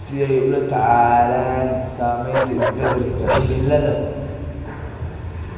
si ay ula tacaalaan saamaynta isbeddelka cimilada.